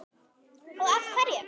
Og af hverju.